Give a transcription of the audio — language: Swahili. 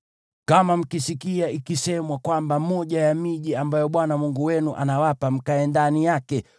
Kama mkisikia ikisemwa kwamba moja ya miji ambayo Bwana Mungu wenu anawapa mkae ndani yake